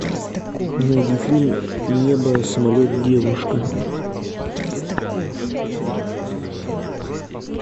найди фильм небо самолет девушка